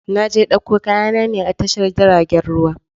Na je ɗauko kaya na ne a tashar jiragen ruwa